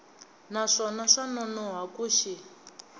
naswona swa nonoha ku xi